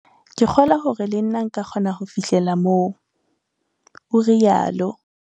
"Ke kgolwa hore le nna nka kgona ho fihlella moo," o rialo.